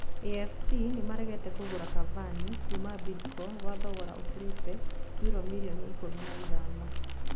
AFC nĩmaregete Kũgũra Cavani kuuma Bidco gwa thogora ũkĩrĩte yuro mirioni ikũmi na ithano.